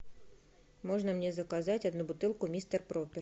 можно мне заказать одну бутылку мистер пропер